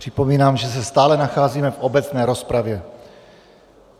Připomínám, že se stále nacházíme v obecné rozpravě.